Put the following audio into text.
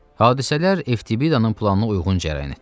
Hadisələr Eftibidanın planına uyğun cərəyan etdi.